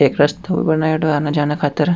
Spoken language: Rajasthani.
एक रस्तो भी बनायेड़ो है आना जाना खातिर।